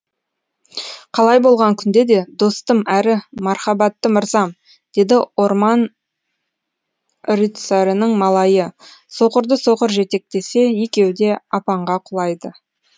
қалай болған күнде де достым әрі мархабатты мырзам деді орман рыцарының малайы соқырды соқыр жетектесе екеуі де апанға құлайды